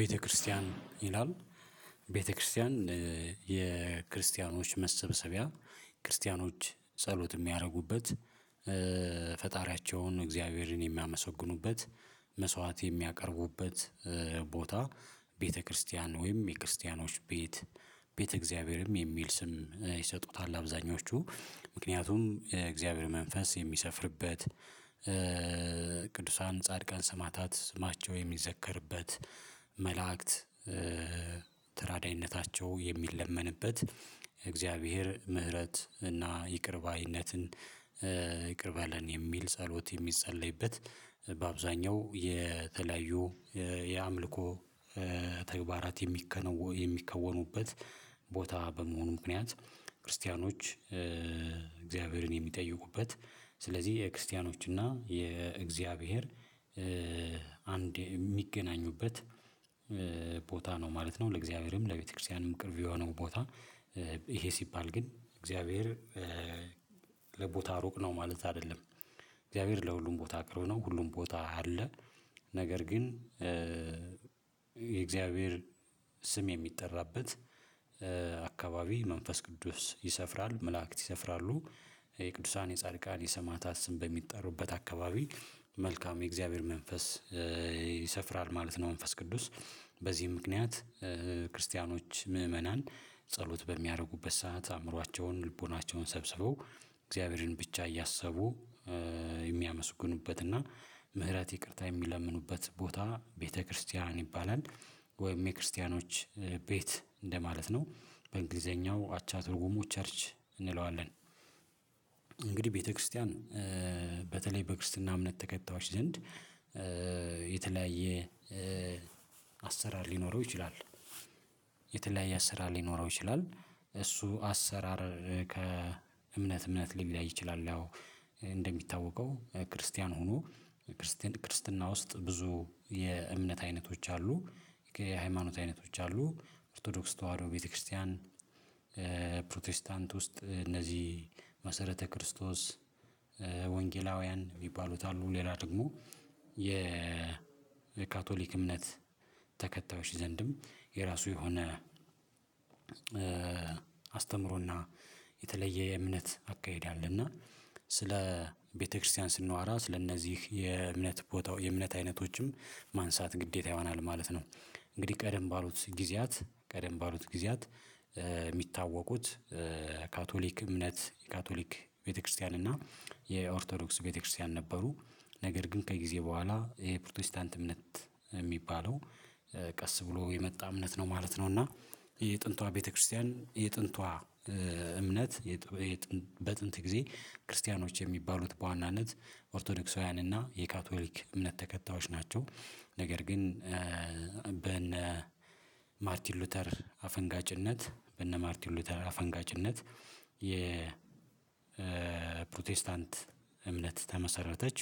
ቤተክርስቲያን ይላል። ቤተክርስቲያን የክርስቲያኖች መሰብሰቢያ ክርስቲያኖች ጸሎት የሚያደርጉበት ፈጣሪያቸውን እግዚአብሔርን የሚያመሰግኑበት መስዋዕት የሚያቀርቡበት። ቦታ ቤተክርስቲያን ወይም የክርስቲያኖች ቤት ቤተ እግዚአብሔርም የሚል ስም ይሰጡታል። አብዛኞቹ ምክንያቱም የእግዚአብሔር መንፈስ የሚሰፍርበት ቅዱሳን ጻድቃን ሰማዕታት ስማቸው የሚዘከርበት። መላእክት ተራዳይነታቸው የሚለመንበት የእግዚአብሔር ምህረት እና ይቅር ባይነትን ይቅር በለን የሚል ጸሎት የሚጸለይበት። በአብዛኛው የተለያዩ የአምልኮ ተግባራት የሚከነወ የሚከወኑበት ቦታ በመሆኑ ምክንያት ክርስቲያኖች እግዚአብሔርን የሚጠይቁበት ስለዚህ የክርስቲያኖች እና የእግዚአብሔር አንድ የሚገናኙበት ቦታ ነው ማለት ነው። ለእግዚአብሔርም ለቤተክርስቲያንም ቅርብ የሆነው ቦታ። ይሄ ሲባል ግን እግዚአብሔር ለቦታ ሩቅ ነው ማለት አይደለም። እግዚአብሔር ለሁሉም ቦታ ቅርብ ነው ሁሉም ቦታ አለ ነገር ግን የእግዚአብሔር ስም የሚጠራበት አካባቢ መንፈስ ቅዱስ ይሰፍራል መላእክት ይሰፍራሉ። የቅዱሳን የጻድቃን የሰማዕታት ስም በሚጠሩበት አካባቢ መልካም የእግዚአብሔር መንፈስ ይሰፍራል ማለት ነው። መንፈስ ቅዱስ በዚህ ምክንያት ክርስቲያኖች ምእመናን ጸሎት በሚያደርጉበት ሰዓት አእምሯቸውን ልቦናቸውን ሰብስበው እግዚአብሔርን ብቻ እያሰቡ የሚያመስግኑበት እና ምህረት ይቅርታ የሚለምኑበት ቦታ ቤተክርስቲያን ይባላል። ወይም የክርስቲያኖች ቤት እንደማለት ነው በእንግሊዘኛው አቻ ትርጉሙ ቸርች እንለዋለን። እንግዲህ ቤተክርስቲያን በተለይ በክርስትና እምነት ተከታዮች ዘንድ የተለያየ አሰራር ሊኖረው ይችላል የተለያየ አሰራር ሊኖረው ይችላል እሱ አሰራር ከእምነት እምነት ሊለያይ ይችላል። ያው እንደሚታወቀው ክርስቲያን ሁኑ ክርስቲያን ክርስትና ውስጥ ብዙ የእምነት አይነቶች አሉ የሃይማኖት አይነቶች አሉ ኦርቶዶክስ ተዋህዶ ቤተክርስቲያን ፕሮቴስታንት ውስጥ እነዚህ መሰረተ ክርስቶስ ወንጌላውያን የሚባሉት አሉ። ሌላ ደግሞ የ የካቶሊክ እምነት ተከታዮች ዘንድም የራሱ የሆነ አስተምሮና የተለየ የእምነት አካሄድ አለ። እና ስለ ቤተክርስቲያን ስናዋራ ስለእነዚህ የእምነት ቦታው የእምነት አይነቶችም ማንሳት ግዴታ ይሆናል ማለት ነው። እንግዲህ ቀደም ባሉት ጊዜያት ቀደም ባሉት ጊዜያት የሚታወቁት ካቶሊክ እምነት ካቶሊክ ቤተክርስቲያን እና የኦርቶዶክስ ቤተክርስቲያን ነበሩ ነገር ግን ከጊዜ በኋላ ይሄ ፕሮቴስታንት እምነት የሚባለው ቀስ ብሎ የመጣ እምነት ነው ማለት ነው። እና የጥንቷ ቤተክርስቲያን የጥንቷ እምነት በጥንት ጊዜ ክርስቲያኖች የሚባሉት በዋናነት ኦርቶዶክሳውያን እና የካቶሊክ እምነት ተከታዮች ናቸው። ነገር ግን በነ ማርቲን ሉተር አፈንጋጭነት በነ ማርቲን ሉተር አፈንጋጭነት የ ፕሮቴስታንት እምነት ተመሰረተች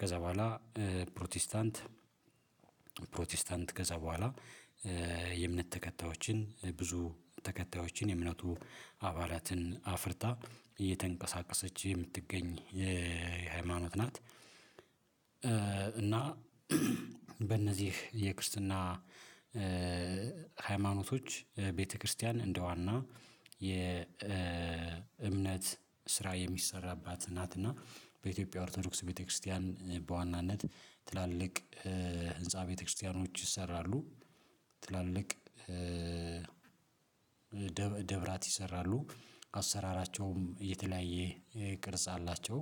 ከዛ በኋላ ፕሮቴስታንት ፕሮቴስታንት ከዛ በኋላ የእምነት ተከታዮችን ብዙ ተከታዮችን የእምነቱ አባላትን አፍርታ እየተንቀሳቀሰች የምትገኝ የሃይማኖት ናት። እና በእነዚህ የክርስትና ሃይማኖቶች ቤተክርስቲያን እንደዋና የእምነት ስራ የሚሰራባት ናት። እና በኢትዮጵያ ኦርቶዶክስ ቤተክርስቲያን በዋናነት ትላልቅ ህንፃ ቤተክርስቲያኖች ይሰራሉ ትላልቅ ደብራት ይሰራሉ አሰራራቸውም የተለያየ ቅርጽ አላቸው።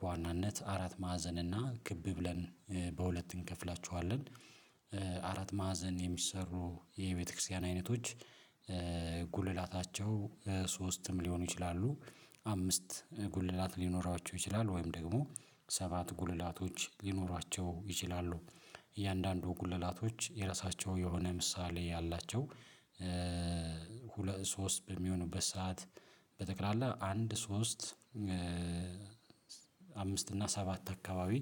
በዋናነት አራት ማዕዘንና እና ክብ ብለን በሁለት እንከፍላችኋለን አራት ማዕዘን የሚሰሩ የቤተክርስቲያን አይነቶች ጉልላታቸው ሶስትም ሊሆኑ ይችላሉ አምስት ጉልላቶች ሊኖራቸው ይችላል ወይም ደግሞ ሰባት ጉልላቶች ሊኖሯቸው ይችላሉ። እያንዳንዱ ጉለላቶች የራሳቸው የሆነ ምሳሌ ያላቸው ሁለት ሶስት በሚሆንበት ሰዓት በጠቅላላ አንድ ሶስት አምስት እና ሰባት አካባቢ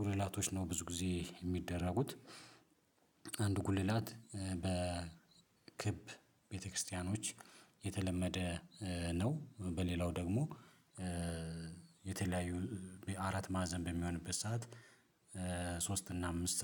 ጉልላቶች ነው ብዙ ጊዜ የሚደረጉት አንድ ጉልላት በ ክብ ቤተክርስቲያኖች የተለመደ ነው። በሌላው ደግሞ የተለያዩ በአራት ማዕዘን በሚሆንበት ሰዓት ሶስት እና አምስት